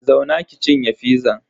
Zauna ki cinye fizan.